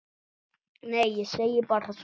Nei, ég segi bara svona.